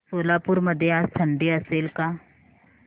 सोलापूर मध्ये आज थंडी असेल का